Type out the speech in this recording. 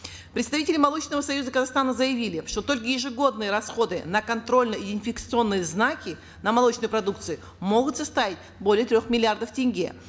представители молочного союза казахстана заявили что только ежегодные расходы на контрольно идентификационные знаки на молочной продукции могут составить более трех миллиардов тенге